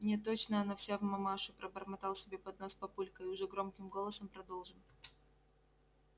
не точно она вся в мамашу пробормотал себе под нос папулька и уже громким голосом продолжил